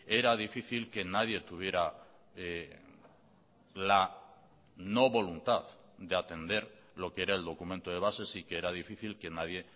era difícil que nadie tuviera la no voluntad de atender lo que era el documento de bases y que era difícil que nadie